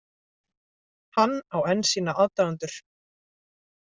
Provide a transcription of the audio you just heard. Hann á enn sína aðdáendur